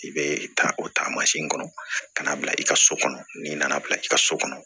I bɛ taa o taa masin kɔnɔ ka na bila i ka so kɔnɔ n'i nana bila i ka so kɔnɔ